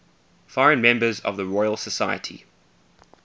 foreign members of the royal society